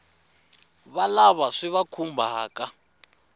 wa lava swi va khumbhaka